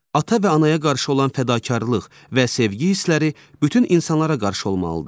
Ata və anaya qarşı olan fədakarlıq və sevgi hissləri bütün insanlara qarşı olmalıdır.